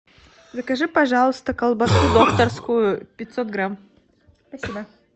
закажи пожалуйста колбасу докторскую пятьсот грамм спасибо